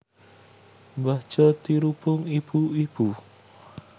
Mbah Jo dirubung ibu ibu